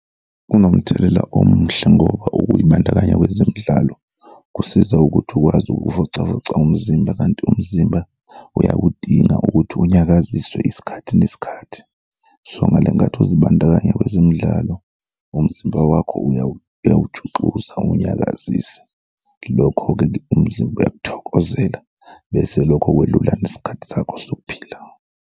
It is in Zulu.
Kunomthelela omuhle ngoba ukuy'bandakanya kwezemidlalo kusiza ukuthi ukwazi ukuvocavoca umzimba kanti umzimba uyakudinga ukuthi unyakaziswe isikhathi nesikhathi. So ngale nkathi uzibandakanya kwezemidlalo, umzimba wakho uyawujuxuza uwunyakazise, lokho-ke umzimba uyakuthokozela bese lokho kwelula nesikhathi sakho sokuphila.